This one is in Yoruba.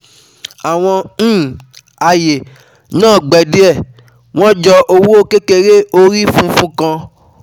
àwọn um aye um naa gbẹ diẹ, wọ́n jọ oowo kekere orí funfun kan